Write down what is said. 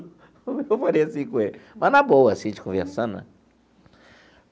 Eu falei assim com ele, mas na boa, assim a gente conversando né.